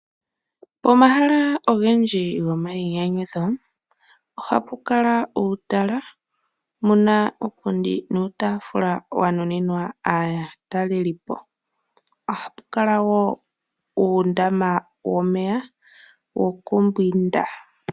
Omahala ogendji go mayinyanyudho oha pukala uutala muna uupundi nuutafula wa nuninwa aatalelipo. Oha pukala wo uundama womeya wo kumbwinda.